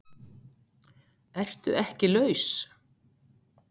ERTU EKKI LAUS?